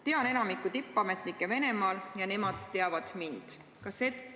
Tean enamikku tippametnikke Venemaal ja nemad teavad mind.